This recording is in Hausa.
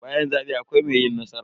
Bayan zabe akwai mai yi nasara.